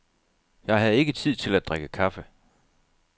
Jeg havde ikke tid til at drikke kaffe.